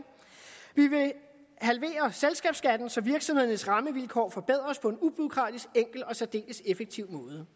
vi vil halvere selskabsskatten så virksomhedernes rammevilkår forbedres på en ubureaukratisk enkel og særdeles effektiv